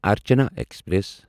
Archana express